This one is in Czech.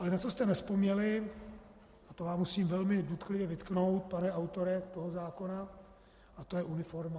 Ale na co jste nevzpomněli, a to vám musím velmi důtklivě vytknout, pane autore toho zákona, a to je uniforma.